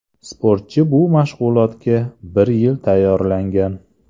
Sportchi bu mashg‘ulotga bir yil tayyorlangan.